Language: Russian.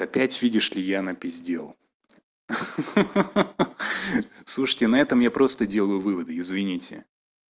опять видишь ли я напиздел ха-ха слушайте на этом я просто делаю выводы извините